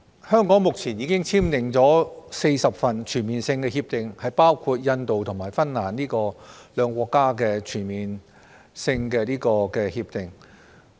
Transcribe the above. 香港目前已經簽訂了40份全面性避免雙重課稅協定，包括分別與印度和芬蘭簽訂的兩份全面性協定。